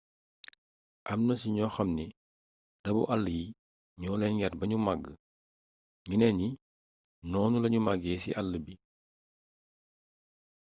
amna ci ñoo xamni rabu àll yi ñoo leen yar bañu màgg ñeneen ñi noonu lañu màggee ci àll bi